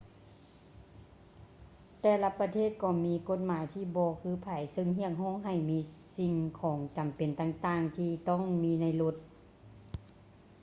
ແຕ່ລະປະເທດກໍມີກົດໝາຍທີ່ບໍ່ຄືໃຜເຊິ່ງຮຽກຮ້ອງໃຫ້ມີສິ່ງຂອງຈໍາເປັນຕ່າງໆທີ່ຕ້ອງມີໃນລົດ